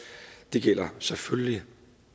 det gælder selvfølgelig